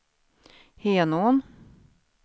Henån